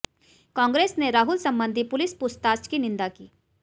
कांग्रेस ने राहुल संबंधी पुलिस पूछताछ की निंदा की